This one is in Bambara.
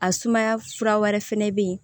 A sumaya fura wɛrɛ fɛnɛ be yen